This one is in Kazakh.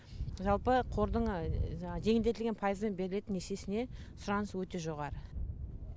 жалпы қордың жаңағы жеңілдетілген пайызбен берілетін несиесіне сұраныс өте жоғары